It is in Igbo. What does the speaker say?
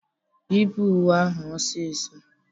Yipụ uwe ahụ ọsịsọ!